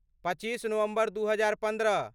पच्चीस नवम्बर दू हजार पन्द्रह